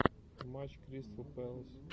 матч кристал пэлас